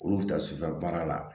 Olu bɛ taa sufɛ baara la